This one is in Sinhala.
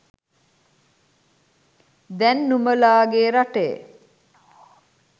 දැන් නුඹලගෙ රටේ